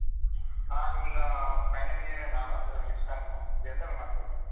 ನಾನ್ ಈಗಾ final year ನಾನು ಆದ್ರೆ sixth sem general ಮಾಡ್ತಿದ್ದೆ.